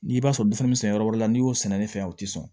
N'i b'a sɔrɔ fɛn bɛ sɛnɛ yɔrɔ wɛrɛ la n'i y'o sɛnɛ ne fɛ o tɛ sɔn